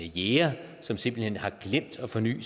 jæger som simpelt hen har glemt at forny